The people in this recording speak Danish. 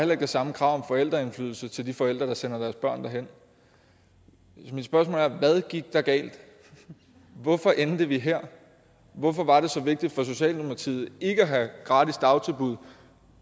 det samme krav om forældreindflydelse til de forældre der sender deres børn derhen så mit spørgsmål er hvad gik der galt hvorfor endte vi her hvorfor var det så vigtigt for socialdemokratiet ikke at have gratis dagtilbud